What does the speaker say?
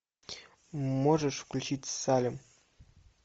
можешь включить салем